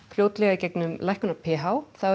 í gegnum lækkun á p h þá